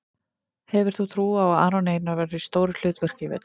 Hefur þú trú á að Aron Einar verði í stóru hlutverki í vetur?